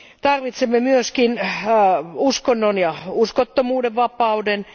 Tarvitsemme myös uskonnon ja uskottomuuden vapauden.